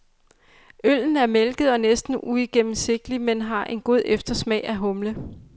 Øllen er mælket og næsten uigennemsigtig, men har en god eftersmag af humle.